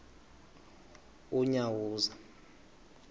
unyawuza